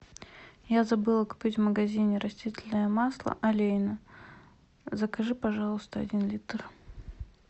я забыла купить в магазине растительное масло олейна закажи пожалуйста один литр